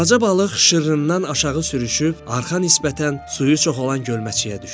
Balaca balıq şırrından aşağı sürüşüb, arx nisbətən suyu çox olan gölməçəyə düşdü.